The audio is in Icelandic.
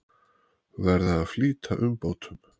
Verða að flýta umbótum